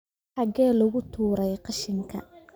Xagee lagu tuuray qashinka?